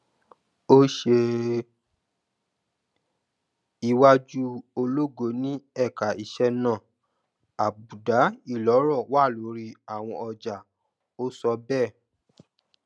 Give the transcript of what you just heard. ó ṣe iwájú ológo ni ẹka iṣẹ náà àbùdá ìlọrọ wà lórí àwọn ọjà ó sọ bẹẹ